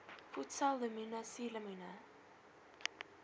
voedsel lemoene suurlemoene